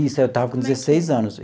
Isso, eu estava com dezesseis anos.